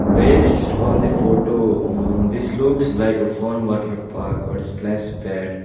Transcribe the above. based on the photo uh this looks like a fun water park or splash pad.